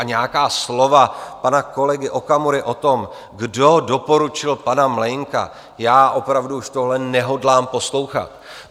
A nějaká slova pana kolegy Okamury o tom, kdo doporučil pana Mlejnka - já opravdu už tohle nehodlám poslouchat.